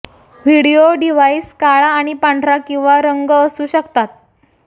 video device काळा आणि पांढरा किंवा रंग असू शकतात